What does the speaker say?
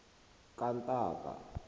kantaka